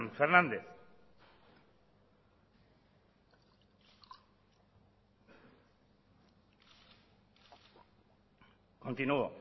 hernández continuo